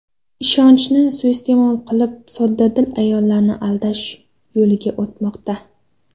Ishonchni suiiste’mol qilib, soddadil ayollarni aldash yo‘liga o‘tmoqda.